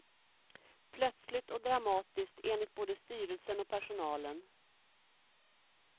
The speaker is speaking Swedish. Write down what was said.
Plötsligt och dramatiskt, enligt både styrelsen och personalen.